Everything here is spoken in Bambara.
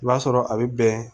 I b'a sɔrɔ a bɛ bɛn